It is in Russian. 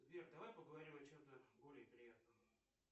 сбер давай поговорим о чем то более приятном